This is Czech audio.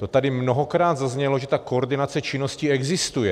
To tady mnohokrát zaznělo, že ta koordinace činnosti existuje.